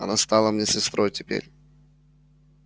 она стала мне сестрой теперь